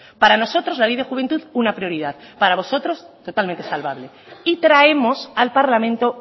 para nosotros la ley de juventud una prioridad para vosotros totalmente salvable y traemos al parlamento